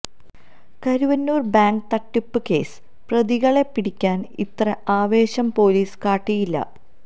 Karuvannur bank തട്ടിപ്പ് case പ്രതികളെ പിടിക്കാന് ഇത്ര ആവേശം പോലീസ് കാട്ടിയിട്ടില്ല